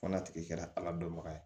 Fɔ n'a tigi kɛra ala dɔnbaga ye